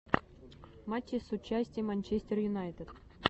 матчи с участием манчестер юнайтед